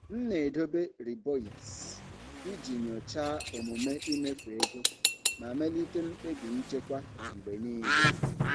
M na-edobe riboeipts iji nyochaa omume imefu ego ma melite mkpebi nchekwa mgbe niile.